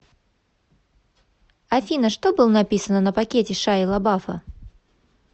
афина что был написано на пакете шайи лабафа